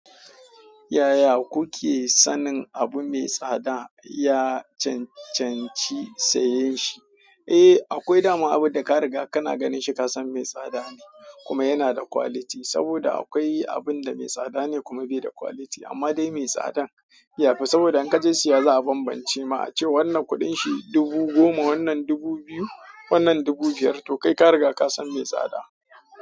Yaya kuke sanin abu mai tsada? Ya cancanci saye shi? Eh, akwai dama abun da ka riga kana ganin shi ka san mai tsada ne kuma yana da quality, saboda akwai abun da mai tsada ne kuma bai da quality. Amma dai mai tsadan, ya fi saboda in ka je siya za a bambance ma a ce wannan kuɗin shi dubu goma, wannan dubu biyu, wannan dubu biyar. To kai ka riga ka san mai tsada.